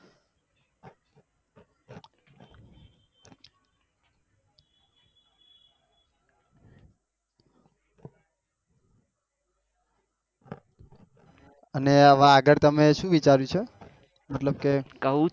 અને હવે આગળ તમે શું વિચાર્યું છે મતલબ કે